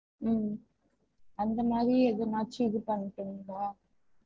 ஹம் அந்த மாறி எதுனாச்சு இது பண்ணிகனுமா?